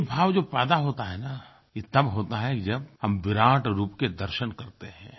ये भाव जब पैदा होता है न ये तब होता है जब हम विराट रूप के दर्शन करते हैं